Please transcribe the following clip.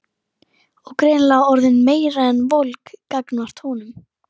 Og greinilega orðin meira en volg gagnvart honum.